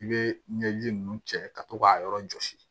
I bɛ ɲɛji ninnu cɛ ka to k'a yɔrɔ jɔsi